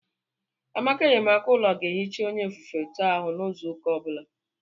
Amaka enyemaka ụlọ ga-ehicha onye ofufe to ahụ n'izu ụka ọ bụla.